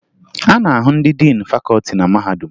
A na-ahụ ndị diin fakọọti na mahadum